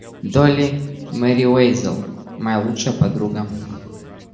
долли мерриуэзел моя лучшая подруга